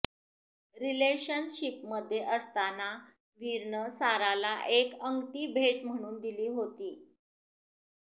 रिलेशनशिपमध्ये असताना वीरनं साराला एक अंगठी भेट म्हणून दिली होती